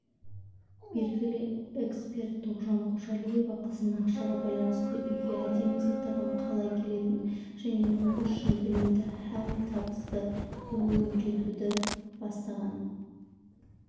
белгілі эксперт тоғжан қожалиева қызына ақшаға байланысты үйге әдемі заттардың қалай келетінін және ол үшін білімді һәм табысты болуды үйретуден бастағанын